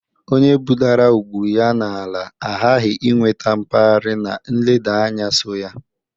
Onye budara ugwu ya n'ala aghaghi inweta mkpari na nleda anya so ya.